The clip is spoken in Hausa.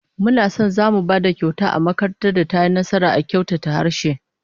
Muna son zamu ba da kyauta ga makarantar da tayi nasara a kyautata harshe